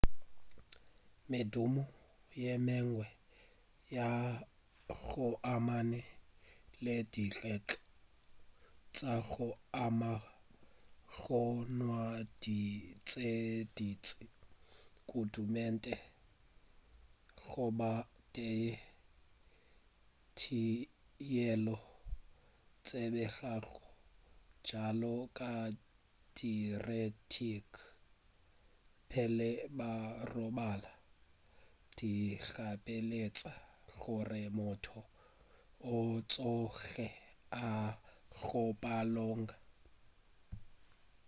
medumo ye mengwe ya go amana le dikgetho tša go ama go nwa dino tše dintši kudu meetse goba teye yeo e tsebegago bjalo ka diuretic pele ba robala di gapeletša gore motho a tsoge a ye go hlapologa